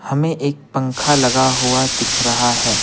हमें एक पंखा लगा हुआ दिख रहा है।